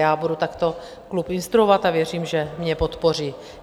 Já budu takto klub instruovat a věřím, že mě podpoří.